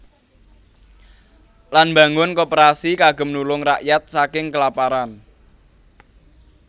Lan mbangun Koperasi kagem nulung rakyat saking kelaparan